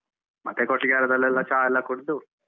ಮತ್ತೆ ಕೊಟ್ಟಿಗೆಹಾರದಲ್ಲೆಲ್ಲಾ ಚಾ ಎಲ್ಲ ಕುಡ್ದು.